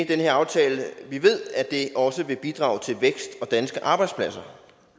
her aftale vi ved at det også vil bidrage til vækst og danske arbejdspladser